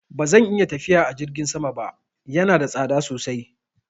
Ba zan iya tafiya a jirgin sama ba, yana da tsada sosai.